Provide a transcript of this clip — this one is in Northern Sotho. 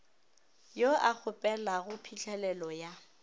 yo a kgopelago phihlelelo ya